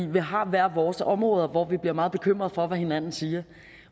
vi har hvert vores område hvor vi bliver meget bekymrede for hvad hinanden siger